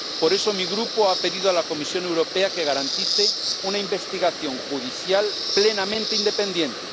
Por eso mi Grupo ha pedido a la Comisión Europea que garantice una investigación judicial plenamente independiente.